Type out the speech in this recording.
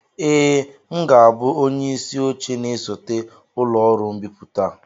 ee, m ga-abụ onye isi oche na-esote ụlọ ọrụ mbipụta a